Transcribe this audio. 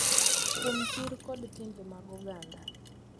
Kuom chir kod timbe mag oganda,